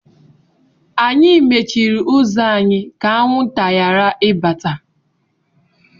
Anyị mechiri ụzọ anyị ka anwụnta ghara ibata.